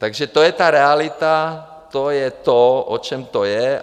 Takže to je ta realita, to je to, o čem to je.